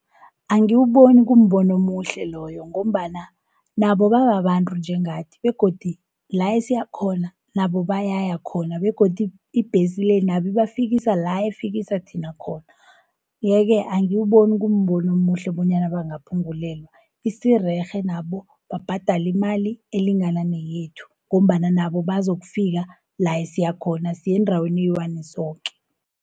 Angiwuboni kumbono omuhle loyo, ngombana nabo bangabantru njengathi, begodu la esiyakhona nabo bayayakhona begodu ibhesi le, nabo ibafikisa la ifikisa thina khona. Ye-ke angiwuboni kumbono omuhle bonyana bangaphungulelwa, isirerhe nabo babhadali imali elingananeyethu, ngombana nabo bazokufika la esiyakhona siyendaweni eyi-one soke.